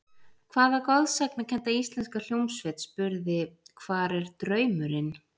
Hvaða goðsagnakennda íslenska hljómsveit spurði Hvar er draumurinn?